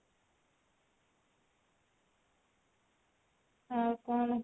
ଆଉ କଣ?